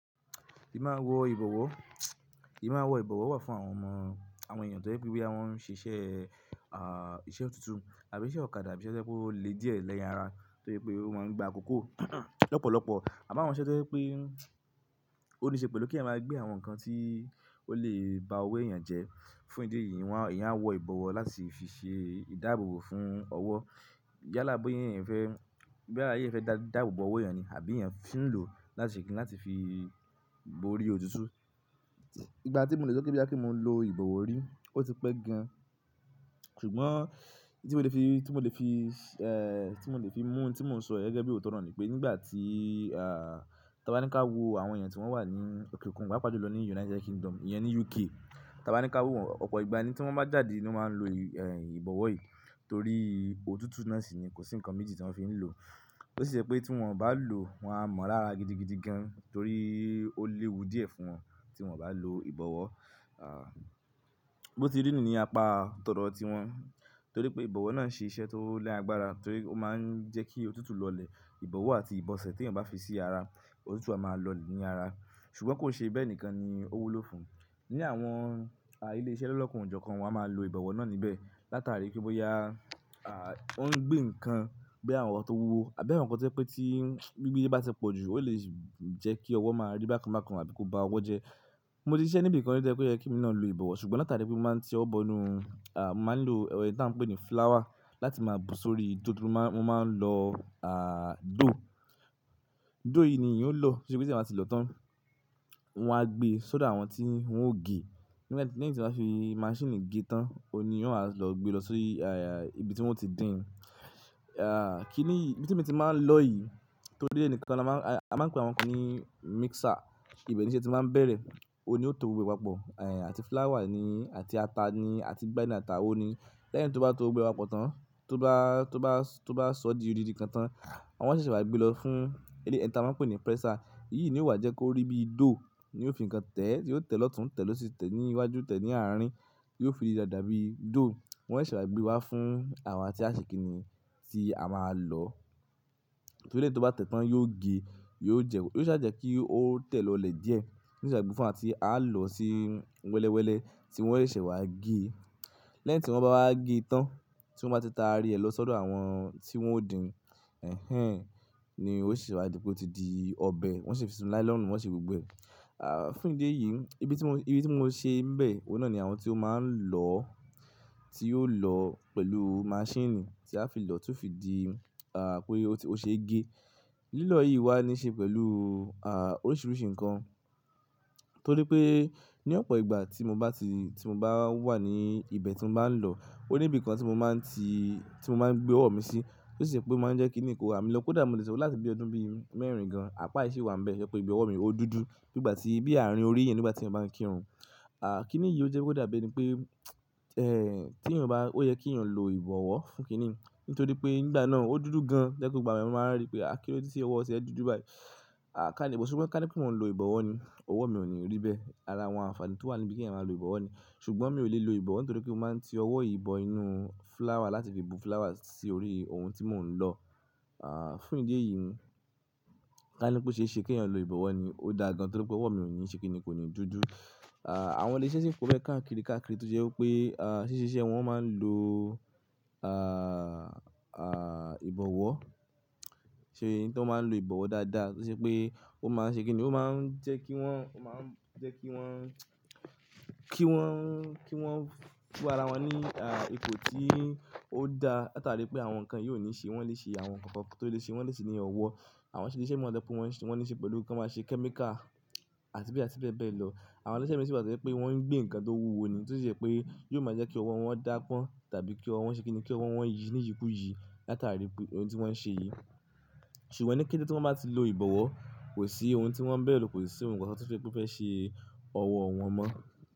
Ì má wọ ìbọ̀wọ̀, ì má wọ ìbọ̀wọ̀ wà fún àwọn ọmọ, àwọn èèyàn tó jẹ́ pé bí wọ́n ṣe iṣẹ́, ah, iṣẹ́ òtútù àbí iṣẹ́ ọ̀kadà to je pe o lè díẹ̀ lára, tó se pé ó máa ń gba àkókò lọ́pọ̀lọpọ̀. Àmo àwọn iṣẹ́ tó jẹ́ pé ó níṣe pẹ̀lú kí eeyan maa gbé àwọn nǹkan tí ó lè ba owó èèyàn jẹ́. Fún ìdí èyí, wọ́n, èèyàn á wọ ìbọ̀wọ̀ láti fi ṣe ìdáàbòbò fún ọwọ́. Yálà bóyá èèyàn fẹ́, bóyá ayé fẹ́ dáàbòbò owó èèyàn ni àbí èèyàn tín lò láti ṣe kín láti fi bo orí òtútù. Ìgbà tí mo lè sọ pé boya pe mo lo ìbọ̀wọ̀ orí, ó ti pẹ́ gan. Ṣùgbọ́n tí mo lè fi, tí mo lè fi, eh, tí mo lè fi mú tí mò ń sọ yẹn gẹ́gẹ́ bí òótọ́ nì pé nígbà tí, ah, ti wọ́n bá ní ká wo àwọn èèyàn tí wọ́n wà ní òkè òkun, paapa jùlọ lọ ní United Kingdom, ìyẹn ni UK. Ti a bá ní ká wo wọn, ọ̀pọ̀ ìgbà ni tí wọ́n bá jáde ni wọ́n máa ń lo, eh, ìbọ̀wọ̀ yìí torí òtútù náà sì ni kò sí nǹkan méjì tí wọ́n fi ń lò. Ó sì jẹ́ pé tí wọ́n bá lò, wọ́n á mọ lára gidigidi gan torí ó léwu díẹ̀ fún wọn tí wọ́n bá lo ìbọ̀wọ̀. Ah, bó ti rí nìi ni apá tọ̀dọ̀ tiwọn torí pé ìbọ̀wọ̀ náà ṣe iṣẹ́ tó ni àgbára torí ó máa ń jẹ́ kí òtútù lọlẹ̀. Ìbọ̀wọ̀ àti ìbọ̀sẹ̀ tí èèyàn bá fi sí ara, òtútù a máa lọ ní ara. Ṣùgbọ́n kò ṣe bẹ́ẹ̀ nìkan ni ó wúlò fún. Ní àwọn, ah, ilé-iṣẹ́ lọ́kan o jọkan wọ́n á máa lo ìbọ̀wọ̀ náà níbẹ̀ látàrí pé bóyá, ah, ó ń gbé nǹkan bí i àwọn to wuwo, àbí àwọn nǹkan tó jẹ́ pé tí gbigbe ba ti pọ̀jù, ó lè jẹ́ kí ọwọ́ máa rí bákan bákan àbí kó ba ọwọ́ jẹ́. Mo ti ṣiṣẹ́ níbi kan ri tó je pe o ye kí emi náà lo ìbọ̀wọ̀, ṣùgbọ́n látàrí pé mo máa ń ti ọwọ́ bọ inú, ah, màá ń lo èro tí aa ń pè ní flower láti máa bu sórí dòdò. Wọ́n máa ń lọ, ah, dough. Dough yìí ni èèyàn o lọ, to se pe ti eeyan ba ti lò tán. Wọ́n á gbe sodo àwọn tí wọ́n ò gé. Lẹ́yìn tí wọ́n bá fi maṣíìnì gé tán, óun ni eeyan o wa á lọ gbe lọ sii ah, ibi tí wọ́n i ti dín. Ah, kínì yìí, ibi tí emi ti máa ń lọ yìí tó dé ẹni kan, a máa ń pe àwọn kan ní mixer. Ibe n'íṣẹ́ tí màá n bẹ̀rẹ̀, óun ni ó tó gbogbo e papọ̀, eh, àti flower ni àti ata ni àti ìgbà ni atawo ni lẹ́yìn tó bá tó gbogbo e papọ̀ tán, tó bá, tó bá, tó bá sọ di òdìdì kan tán, a maa n ṣẹ̀ṣẹ̀ wá gbé lọ fún ẹni tí a máa ń pè ní presser. Èyí ni ó wà jẹ́ kó rí bíi dough ni ó fi nǹkan tẹ̀, tí yóò tẹ̀ lọ́tun, tẹ̀ lọ sí tẹ̀ ní iwájú, tẹ̀ ní àárín, yóò fi da dàbí dough. Wọn ṣẹ̀ṣẹ̀ wá gbé wá fún àwa tí a ṣe kín ni tí a máa lọ. Torí e tí ó bá tẹ̀ tán yóò gé, yóò jẹ, yóò sá jẹ́ kí ó tẹ̀ lọlẹ̀ díẹ̀. Ṣẹ̀ṣẹ̀ wá gbé fún wa tí àá lọ sí wẹ́lẹ́wẹ́lẹ́ tí wọn yóò ṣẹ̀ṣẹ̀ wá gé. Lẹ́yìn tí wọ́n bá wá gé tán, tí wọ́n bá ti ta rí ẹ lọ sọ́dọ̀ àwọn tí wọ́n ó dín, ẹhẹn, ni ó ṣẹ̀ṣẹ̀ wá dípe o tí di ọbẹ̀. Wọn ṣi fi sínú nylonu wọn ṣe gbogbo ẹ̀. Ah, fún ìdí èyí, ibi tí mo, ibi tí mo ṣe ń bẹ̀, ohun náà ni àwọn tí ó máa ń lọ, tí yóò lọ pẹ̀lú maṣíìnì tí a fi lò tún fi di, ah, pé ó ti, ó ṣe gé. Lílọ yìí wá níṣe pẹ̀lú, ah, oríṣiríṣi nǹkan. Torí pé ní ọ̀pọ̀ ìgbà tí mo bá ti, tí mo bá wà ní ibẹ̀ tí mo bá ń lọ, ó ní ibi kan tí mo máa ń ti, tí mo máa ń gbé ọwọ́ mi sí tó sì ṣe pé ó máa ń jẹ́ kí nì kò rá mi lọ́wo. Kódà mo lè sọ láti bí ọdún bí i mẹ́rin gan. Àpá yìí si wa níbẹ̀ to je pé pé ìbi owo, mi ó dúdú bí ìgbà tí, bí àárín orí yen nígbà tí èèyàn bá ń kírun. Ah, kí nìí yìí ó jẹ́ pé ó dàbí ẹni pé, eh, tí èèyàn bá, ó yẹ kí èèyàn lo ìbọ̀wọ́ fún kín niyii, nítorí pé nígbà náà ó dúdú gan. To je pe gbogbo ìgbà ni àwọn eeyan máa n rí pé, "Ah, kí ló dé tí ọwọ́ ti e dúdú báyìí?" Ah, ká níbọ̀, ṣùgbọ́n ká ní pé wọ́n ń lo ìbọ̀wọ́ ni. Ọwọ́ mi ò ní rí bẹ́ẹ̀. Ara àwọn àǹfààní tó wà níbí kí èèyàn máa lo ìbọ̀wọ́ ni. Ṣùgbọ́n mi ò lè lo ìbọ̀wọ́ nítorí pé mo máa ń ti ọwọ́ yìí bọ inú flower láti fi bu flower sí orí ohun tí mò ń lọ. Ah, fún ìdí èyí, ká ní pé ó ṣe é ṣe kí èèyàn lo ìbọ̀wọ́ ni. Ó dáa gan torí pé ọwọ́ mi ò ní ṣe kín ni kò ní dúdú. Ah, àwọn ilé-iṣẹ́ si po beẹ́ káàkiri káàkiri tó jẹ́ pé, ah, ṣíṣe iṣẹ́ wọn máa ń lo, ah, ah, ìbọ̀wọ́. Ṣé nǹkan máa ń lo ìbọ̀wọ́ dáadáa to se pé ó máa ń ṣe kí nìí, ó máa ń jẹ́ kí wọ́n, ó máa ń jẹ́ kí wọ́n, kí wọ́n, kí wọ́n fún ara wọn ní, ah, ipò tí ó dá látàrí pé àwọn kan yìí o ni se e. Wọn lè ṣe àwọn nǹkan kan tó lè ṣe, wọ́n lè ṣe ní ọwọ́. Àwọn ilé-iṣẹ́ mìíràn tẹ́lẹ̀ pé wọn ṣe, wọ́n níṣe pẹ̀lú kí wọ́n máa ṣe kẹ́míkà àti be àti bẹ́ẹ̀ bẹ́ẹ̀ lọ. Àwọn ilé-iṣẹ́ mìíràn sì wà to je pé wọ́n ń gbé nǹkan tó wúwo ni tó sì je pé yóò máa jẹ́ kí ọwọ́ wọn dá pọ́n tàbí kí ọwọ́ wọn ṣe kí nìí, kí ọwọ́ wọn yí ní ìyí kú ìyí látàrí pé ohun tí wọ́n ṣe yìí. Ṣùgbọ́n ní kété tí wọ́n bá ti lo ìbọ̀wọ́, kò sí ohun tí wọ́n bẹ̀rù, kò sì si ohun kan kan to se pé ó fẹ́ ṣe ọwọ́ wọn mọ́.